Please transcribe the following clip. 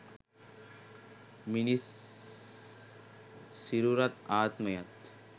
මිනිස් සිරුරත් ආත්මයත්